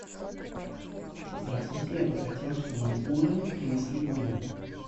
здравствуйте я бы хотел чтобы ужин принесли в мой номер